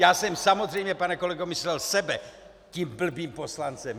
Já jsem samozřejmě, pane kolego, myslel sebe tím blbým poslancem.